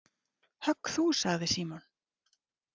Högg þú sagði Símon.